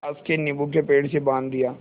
पास के नीबू के पेड़ से बाँध दिया